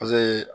Paseke